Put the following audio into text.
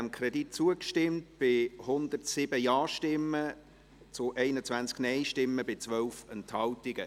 Sie haben diesem Kredit zugestimmt, mit 107 Ja- gegen 21 Nein-Stimmen bei 12 Enthaltungen.